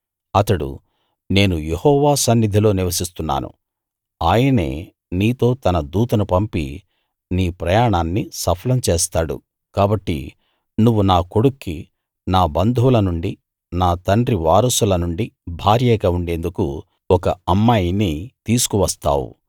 అతడు నేను యెహోవా సన్నిధిలో నివసిస్తున్నాను ఆయనే నీతో తన దూతను పంపి నీ ప్రయాణాన్ని సఫలం చేస్తాడు కాబట్టి నువ్వు నా కొడుక్కి నా బంధువుల నుండి నా తండ్రి వారసులనుండి భార్యగా ఉండేందుకు ఒక అమ్మాయిని తీసుకు వస్తావు